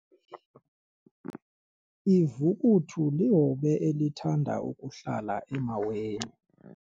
Ivukuthu lihobe elithanda ukuhlala emaweni.